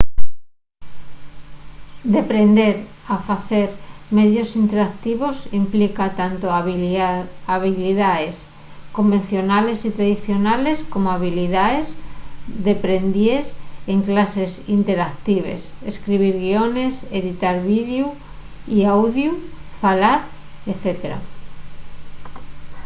deprender a facer medios interactivos implica tanto habilidaes convencionales y tradicionales como habilidaes deprendíes en clases interactives escribir guiones editar videu y audiu falar etc.